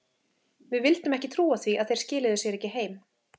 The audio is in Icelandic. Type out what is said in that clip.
Við vildum ekki trúa því að þeir skiluðu sér ekki heim.